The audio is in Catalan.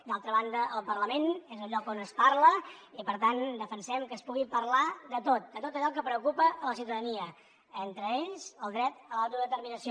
d’altra banda el parlament és el lloc on es parla i per tant defensem que s’hi pugui parlar de tot de tot allò que preocupa a la ciutadania entre ells el dret a l’autodeterminació